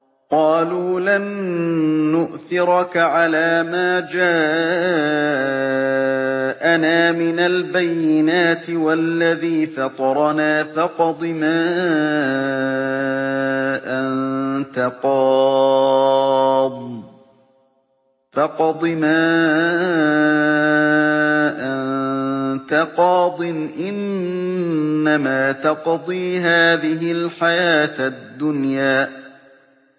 قَالُوا لَن نُّؤْثِرَكَ عَلَىٰ مَا جَاءَنَا مِنَ الْبَيِّنَاتِ وَالَّذِي فَطَرَنَا ۖ فَاقْضِ مَا أَنتَ قَاضٍ ۖ إِنَّمَا تَقْضِي هَٰذِهِ الْحَيَاةَ الدُّنْيَا